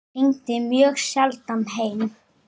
Hún hringdi mjög sjaldan heim.